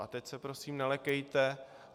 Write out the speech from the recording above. A teď se prosím nelekejte.